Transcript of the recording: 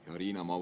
Hea Riina!